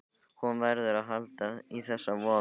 Hún verður að halda í þessa von.